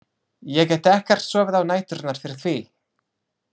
Ég get ekkert sofið á næturnar fyrir því!